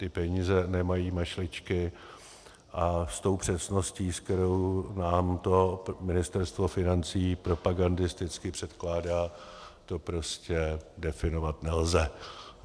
Ty peníze nemají mašličky a s tou přesností, s kterou nám to Ministerstvo financí propagandisticky předkládá, to prostě definovat nelze.